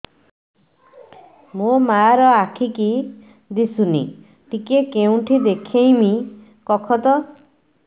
ମୋ ମା ର ଆଖି କି ଦିସୁନି ଟିକେ କେଉଁଠି ଦେଖେଇମି କଖତ